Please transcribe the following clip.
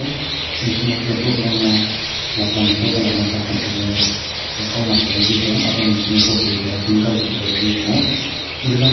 bisingo tere borok bangma kela kela ni doga lama sam bachaye kokma salai pai tongo aboni bisingo boroi keha pink colour kotai toboi tongo hing jangai --